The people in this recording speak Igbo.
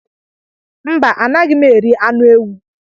Mba, Anaghị m eri anụ ewu